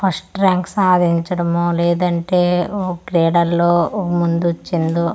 first rank సాధించడమో లేదంటే ఒ క్రీడల్లో ఒ ముందొచ్చిందో--